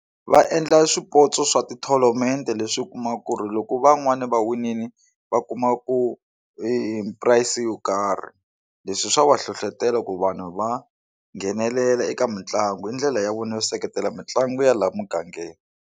Va endla swipotso swa ti-tournament leswi u kumaka ku ri loko van'wani va winile va kumaku eprice yo karhi leswi swa va hlohlotelo ku vanhu va nghenelela eka mitlangu hi ndlela ya vona yo seketela mitlangu ya laha mugangeni.